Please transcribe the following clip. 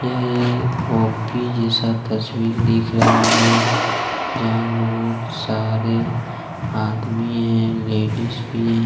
यह एक ऑफिस जैसा तस्वीर दिख रहा है। जहां बहुत सारे आदमी हैं। लेडिस भी हैं।